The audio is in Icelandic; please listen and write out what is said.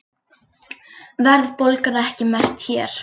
Verðbólgan ekki mest hér